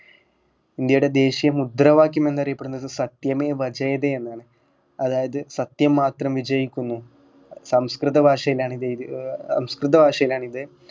ഇന്ത്യയുടെ ദേശീയ മുദ്രവാക്യം എന്നറിയപ്പെടുന്നത് സത്യമേവ ജയതേ എന്നാണ് അതായത് സത്യം മാത്രമേ വിജയിക്കുന്നു സംസ്‌കൃത ഭാഷയിലാണു ഇതെഴുതി ഏർ സംസ്‌കൃത ഭാഷയിലാണ് ഇത്